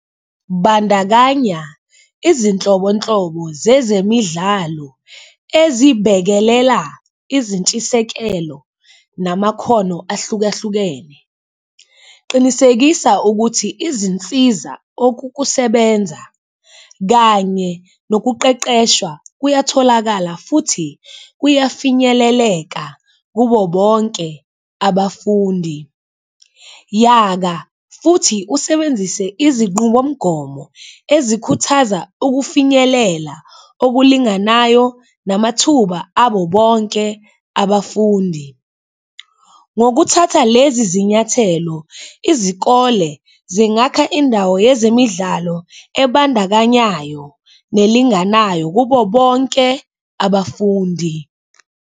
Bandakanya izinhlobonhlobo zezemidlalo ezibhekelela izintshisekelo namakhono ahlukahlukene, qinisekisa ukuthi izinsiza okokusebenza kanye nokuqeqesha kuyatholakala futhi kuyafinyeleleka kubo bonke abafundi, yaka futhi usebenzise izinqubomgomo ezikhuthaza ukufinyelela okulinganayo namathuba abobonke abafundi. Ngokuthatha lezi zinyathelo, izikole zingakha indawo yezemidlalo ebandakanyayo nelinganayo kubo bonke abafundi.